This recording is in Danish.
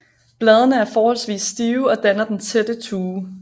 Bladene er forholdsvis stive og danner den tætte tue